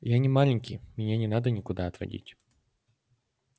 я не маленький меня не надо никуда отводить